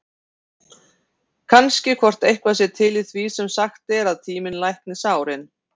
Kannski hvort eitthvað sé til í því sem sagt er, að tíminn lækni sárin?